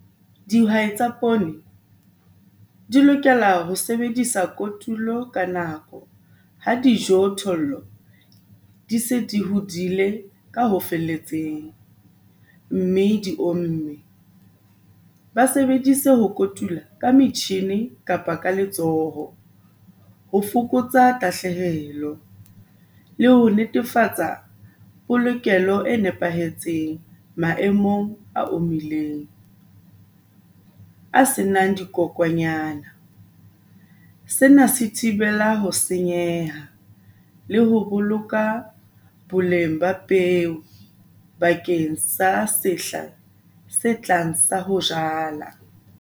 Dihwai tsa poone di lokela ho sebedisa kotulo ka nako ha dijothollo di se di hodile ka ho felletseng, mme di omme. Ba sebedise ho kotula ka metjhini kapa ka letsoho ho fokotsa tahlehelo le ho netefatsa polokelo e nepahetseng maemong a omileng, a se nang dikokonyana. Sena se thibela ho senyeha le ho boloka boleng ba peo bakeng sa sehla se tlang sa ho jala.